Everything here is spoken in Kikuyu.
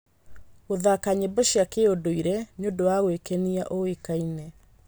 Gũthaka nyĩmbo cia kĩũndũire nĩ ũndũ wa gwĩkenia ũĩkaine.